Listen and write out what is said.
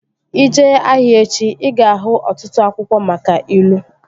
Ị jee ahịa echi, ị ga-ahụ ọtụtụ akwụkwọ maka ilu